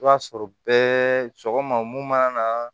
I b'a sɔrɔ bɛɛ sɔgɔma mun mana na